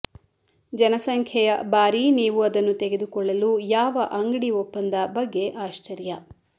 ಜನಸಂಖ್ಯೆಯ ಬಾರಿ ನೀವು ಅದನ್ನು ತೆಗೆದುಕೊಳ್ಳಲು ಯಾವ ಅಂಗಡಿ ಒಪ್ಪಂದ ಬಗ್ಗೆ ಆಶ್ಚರ್ಯ